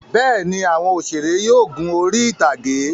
Bẹ́ẹ̀ ni, àwọn òṣèré yóò gun orí-ìtàgé.